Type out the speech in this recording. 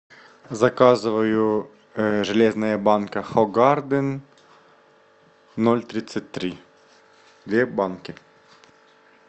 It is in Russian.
заказываю железная банка хогарден ноль тридцать три две банки